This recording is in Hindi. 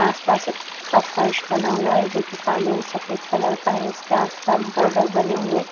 आस पास का फर्श बना हुआ है जो काले और सफेद रंग का है इसके चारों और की सीमा